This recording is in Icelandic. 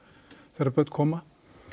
þegar börn koma